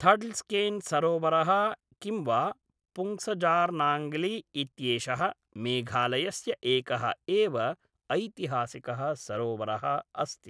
थड्लस्केन्सरोवरः किं वा पुङ्सजार्नाङ्गली इत्येषः मेघालयस्य एकः एव ऐतिहासिकः सरोवरः अस्ति।